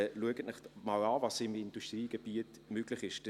Schauen Sie sich einmal an, was im Industriegebiet möglich ist.